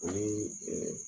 O ni